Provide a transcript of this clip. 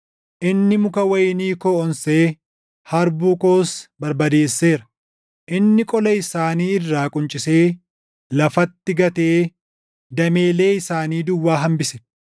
Inni muka wayinii koo onsee harbuu koos barbadeesseera. Inni qola isaanii irraa quncisee lafatti gatee dameelee isaanii duwwaa hambise.